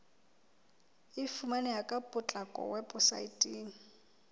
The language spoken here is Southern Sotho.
e fumaneha ka potlako weposaeteng